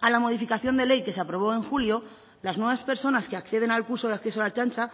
a la modificación de ley que se aprobó en julio las nuevas personas que acceden al curso de acceso a la ertzaintza